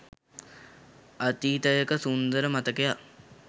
අතීතයක සුන්දර මතකයක්